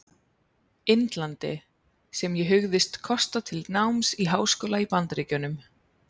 Indlandi, sem ég hugðist kosta til náms í háskóla í Bandaríkjunum.